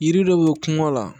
Yiri dɔ bɛ kungo la